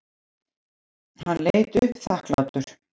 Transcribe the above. Hann leit upp þakklátur.